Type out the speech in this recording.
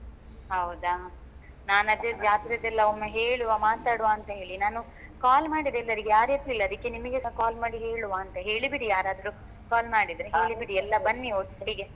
ಹೌದಾ ನಾನ್ ಅದೇ ಜಾತ್ರೆದೆಲ್ಲ ಒಮ್ಮೆ ಹೇಳುವ ಮಾತಾಡುವ ಅಂತ ಹೇಳಿ ನಾನು call ಮಾಡಿದೆ ಎಲ್ಲರಿಗೆ ಯಾರು ಎತ್ಲಿಲ್ಲ ಅದಿಕ್ಕೆ ನಿಮಿಗೆಸಾ call ಮಾಡಿ ಹೇಳುವ ಅಂತ ಹೇಳಿ ಬಿಡಿ ಯಾರಾದ್ರೂ call ಮಾಡಿದ್ರೆ ಹೇಳಿ ಬಿಡಿ ಎಲ್ಲ ಬನ್ನಿ ಒಟ್ಟಿಗೆ.